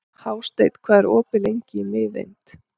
Hásteinn, hvað er opið lengi í Miðeind?